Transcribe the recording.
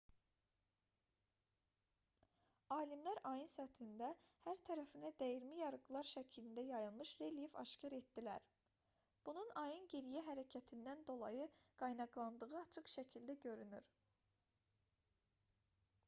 alimlər ayın səthində hər tərəfinə dəyirmi yarıqlar şəklində yayılmış relyef aşkar etdilər bunun ayın geriyə hərəkətindən dolayı qaynaqlandığı açıq şəkildə görünür